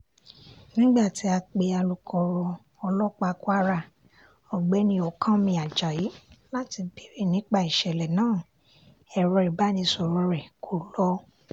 nígbà tí a pe alūkkoro ọlọ́pàá kwara ọ̀gbẹ́ni ọ̀kánmi ajayi láti béèrè nípa ìṣẹ̀lẹ̀ náà ẹ̀rọ ìbánisọ̀rọ̀ rẹ̀ kó lọ